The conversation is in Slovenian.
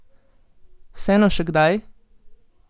Vseeno še kdaj?